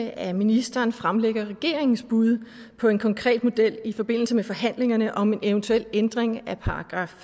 at ministeren fremlægger regeringens bud på en konkret model i forbindelse med forhandlingerne om en eventuel ændring